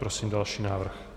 Prosím další návrh.